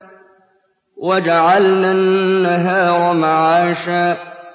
وَجَعَلْنَا النَّهَارَ مَعَاشًا